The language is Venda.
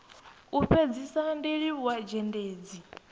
u fhedzisa ndi livhuwa zhendedzi